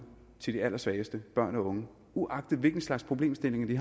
til de allersvageste børn og unge uagtet hvilke slags problemstillinger de